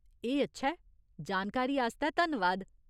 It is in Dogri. एह् अच्छा ऐ। जानकारी आस्तै धन्नवाद।